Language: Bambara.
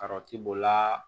Kɔrɔti b'o la